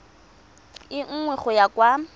e nngwe go ya kwa